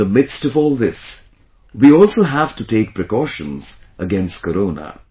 In the midst of all this, we also have to take precautions against Corona